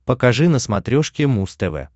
покажи на смотрешке муз тв